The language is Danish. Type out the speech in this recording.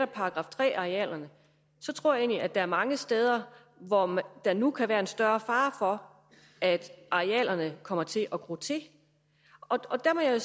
§ tre arealerne tror at der er mange steder hvor der nu kan være større fare for at arealerne kommer til at gro til og der må jeg jo